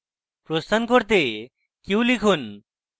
প্রস্থান করতে q লিখুন